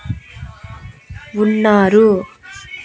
ఉన్నారు.